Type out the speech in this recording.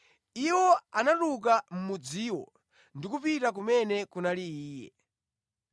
Iwo anatuluka mʼmudziwo ndi kupita kumene kunali Iye.